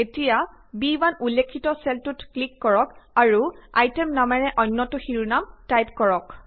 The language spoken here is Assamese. এতিয়া ব1 উল্লেখিত চেলটোত ক্লিক কৰক আৰু আইটেম নামেৰে অন্যটো শিৰোনাম টাইপ কৰক